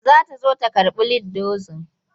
Za ta zo ta karɓi lead dozin.